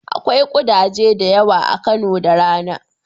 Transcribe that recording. Akwai ƙudaje da yawa a Kano da rana.